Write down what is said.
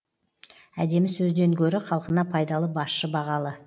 әдемі сөзден гөрі халқына пайдалы басшы бағалы